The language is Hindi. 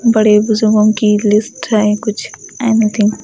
बड़े मुझे की लिस्ट है कुछ एनी थिंग --